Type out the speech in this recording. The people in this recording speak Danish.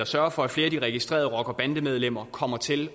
sørge for at flere af de registrerede rockere og bandemedlemmer kommer til